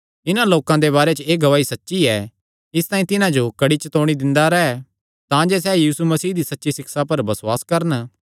इन्हां लोकां दे बारे च एह़ गवाही सच्ची ऐ इसतांई तिन्हां जो कड़ी चतौणी दिंदा रैह् तांजे सैह़ यीशु मसीह दी सच्ची सिक्षा पर बसुआस करन